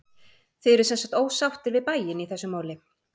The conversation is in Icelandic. Þið eruð semsagt ósáttir við bæinn í þessu máli?